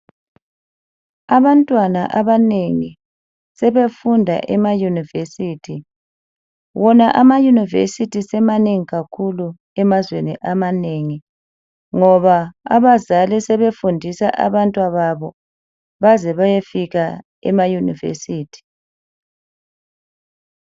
Abantwana abanengi sebefunda emayunivesithi. Wona amayunivesithi semanengi kakhulu emazweni amaneni ngoba abazali sebefundisa abantwababo baze bayefika emayunivesithi.